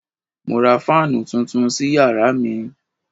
Mo ra fáànù tuntun sí yàrá mi